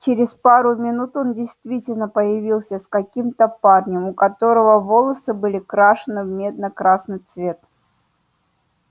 через пару минут он действительно появился с каким-то парнем у которого волосы были крашены в медно-красный цвет